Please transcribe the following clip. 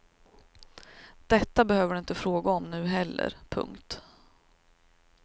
Detta behöver du inte fråga om nu heller. punkt